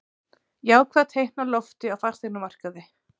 Jákvæð teikn á lofti á fasteignamarkaði